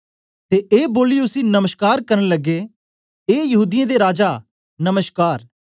ते ए बोलियै उसी नमश्कार करन लग्गे ए यहूदीयें दे राजा नमश्कार